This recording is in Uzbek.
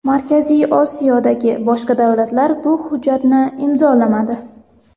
Markaziy Osiyodagi boshqa davlatlar bu hujjatni imzolamadi.